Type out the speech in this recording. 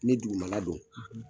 Ni dugumala don.